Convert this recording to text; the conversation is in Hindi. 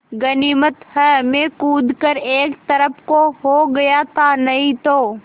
गनीमत है मैं कूद कर एक तरफ़ को हो गया था नहीं तो